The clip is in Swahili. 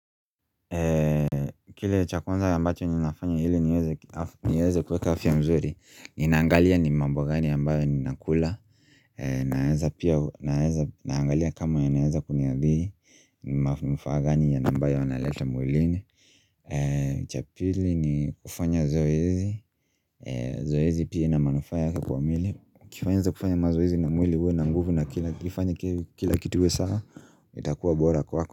Kile cha kwanza ambacho ninafanya hili niweze kuweka afya mzuri Ninaangalia ni mambo gani ambayo ninakula Naangalia kama yanaeza kuniadhiri manufaa gani na ambayo wanaleta mwilini cha pili ni kufanya zoezi Zoezi pia ina manufaa yake kwa mwili ukifanya mazoezi na mwili uwe na nguvu na ifanye kila kitu iwe sawa itakuwa bora kwako.